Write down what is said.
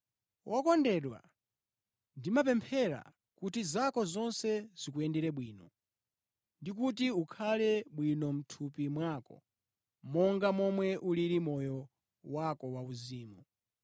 Wokondedwa, ndimakupempherera kuti zako zonse zikuyendere bwino, ndikuti ukhale bwino mʼthupi mwako, monga momwe ulili moyo wako wauzimu.